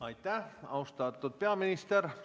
Aitäh, austatud peaminister!